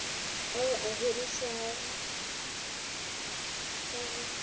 ao a hirišiwang ka go